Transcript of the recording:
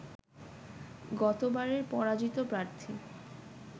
গতবারের পরাজিত প্রার্থী